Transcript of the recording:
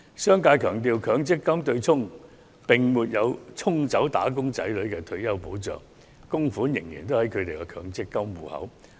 商界強調，強積金對沖安排並沒有沖走"打工仔女"的退休保障，供款仍然在他們的強積金戶口內。